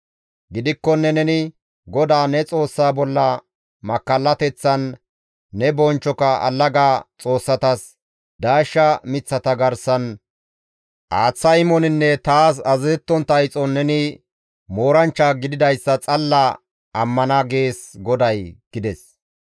Gidikkonne neni, ‹GODAA ne Xoossaa bolla makkallateththan, ne bonchchoka allaga xoossatas daashsha miththata garsan aaththa imoninne taas azazettontta ixon neni mooranchcha gididayssa xalla ammana› gees GODAY» gides.